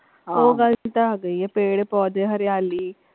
ਉਹ ਗਲ ਚ ਤਾਂ ਹੈਗੀ ਹੀ ਹੈ ਪੇਪੇੜ ਪੋਧੇ ਹਰਿਆਲੀ।